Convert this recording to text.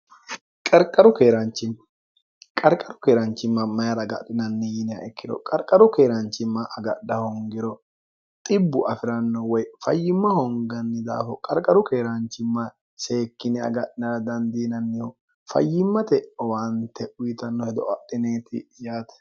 qarqaru keeraanchimma mayira gadhinanni yiiniha ikkiro qarqaru keeraanchimma agadha hongiro xibbu afi'ranno woy fayyimma honganni daafo qarqaru keeraanchimma seekkine aga'nara dandiinannihu fayyimmate owaante uyitanno hedo adhineeti yaate